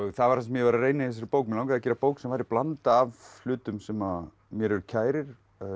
það var það sem ég var að reyna í þessari bók mig langaði að gera bók sem væri blanda af hlutum sem mér eru kærir